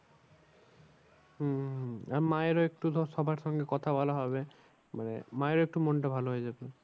হম মায়ের ও একটু ধর সবার সঙ্গে কথা বলা হবে। মানে মায়ের একটু মনটা ভালো হয়ে যাবে।